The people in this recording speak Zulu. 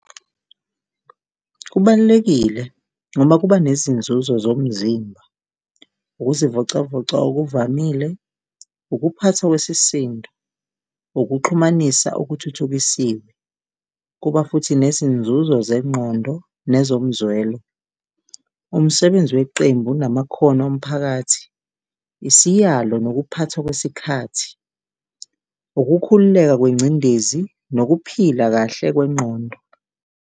Kubalulekile ngoba kuba nezinzuzo zomzimba, ukuzivocavoca okuvamile, ukuphathwa kwesisindo, ukuxhumanisa okuthuthukisiwe, kuba futhi nezinzuzo zengqondo nezomzwelo. Umsebenzi weqembu namakhono omphakathi, isiyalo nokuphathwa kwesikhathi, ukukhululeka kwengcindezi nokuphila kahle kwengqondo.